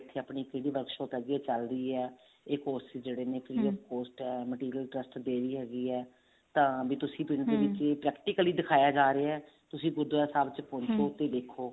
ਇੱਥੇ ਆਪਣੀ ਕਿਹੜੀ workshop ਹੈਗੀ ਹੈ ਚੱਲ ਰਹੀ ਹੈ ਇਹ courses ਨੇ free of cost ਹੈ material trust ਦੇ ਰਹੀ ਹੈਗੀ ਹੈ ਤਾਂ ਤੁਸੀਂ ਦੇ ਵਿੱਚ ਹੀ practically ਦਿਖਾਇਆ ਜਾ ਰਿਹਾ ਤੁਸੀਂ ਗੁਰੂਦਵਾਰਾ ਸਾਹਿਬ ਪਹੁੰਚੋ ਤੇ ਦੇਖੋ